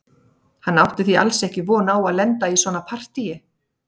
Hann átti því alls ekki von á að lenda í svona partíi.